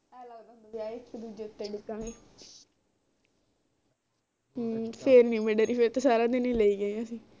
ਆ ਇਕ ਦੂਜੇ ਉੱਤੇ ਡਿੱਗਾਂਗੇ ਫਿਰ ਨੀ ਮੈਂ ਡਰੀ ਫਿਰ ਤੇ ਸਾਰਾ ਈ ਲਏ ਗਏ ਅਸੀਂ